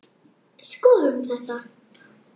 Skoðum þetta